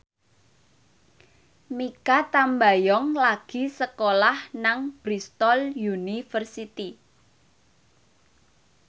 Mikha Tambayong lagi sekolah nang Bristol university